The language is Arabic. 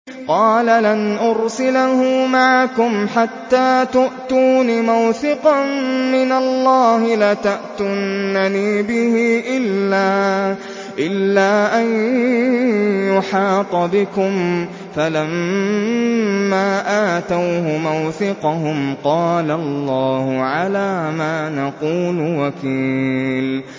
قَالَ لَنْ أُرْسِلَهُ مَعَكُمْ حَتَّىٰ تُؤْتُونِ مَوْثِقًا مِّنَ اللَّهِ لَتَأْتُنَّنِي بِهِ إِلَّا أَن يُحَاطَ بِكُمْ ۖ فَلَمَّا آتَوْهُ مَوْثِقَهُمْ قَالَ اللَّهُ عَلَىٰ مَا نَقُولُ وَكِيلٌ